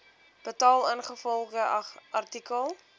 betaal ingevolge artikel